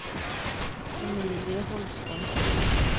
Emilie Holstad